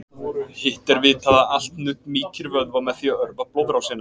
hitt er vitað að allt nudd mýkir vöðva með því að örva blóðrásina